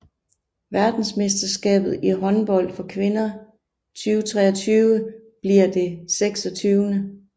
Verdensmesterskabet i håndbold for kvinder 2023 bliver det 26